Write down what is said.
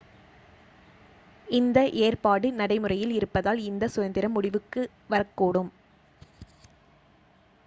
இந்த ஏற்பாடு நடைமுறையில் இருப்பதால் இந்தச் சுதந்திரம் முடிவுக்கு வரக்கூடும்